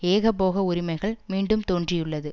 ஏகபோக உரிமைகள் மீண்டும் தோன்றியுள்ளது